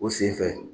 O sen fɛ